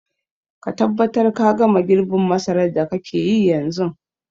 Ka tabbatar ka gama girbin masarar da kake yi yanzun.